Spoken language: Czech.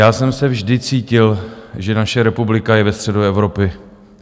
Já jsem se vždy cítil, že naše republika je ve středu Evropy.